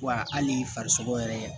Wa hali farisogo yɛrɛ